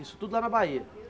Isso tudo lá na Bahia?